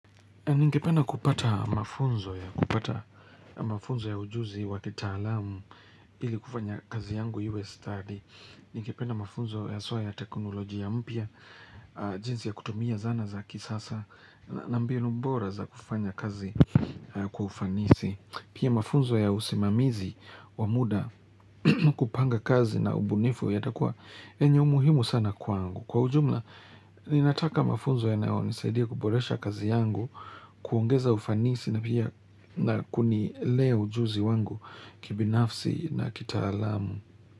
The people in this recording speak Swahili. Ningependa mafunzo ya, kupata mafunzo ya ujuzi wa kitaalamu, ili kufanya kazi yangu iwe stadi. Ningependa mafunzo haswa ya teknolojia mpya, jinsi ya kutumia zana za kisasa, na mbinu bora za kufanya kazi kwa ufanisi. Pia mafunzo ya usimamizi wa muda kupanga kazi na ubunifu yatakuwa yenye umuhimu sana kwaangu. Kwa ujumla, ninataka mafunzo yanayonisaidia kuboresha kazi yangu, kuongeza ufanisi na pia na kunilea ujuzi wangu kibinafsi na kitaalamu.